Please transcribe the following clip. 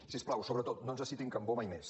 si us plau sobretot no ens citin cambó mai més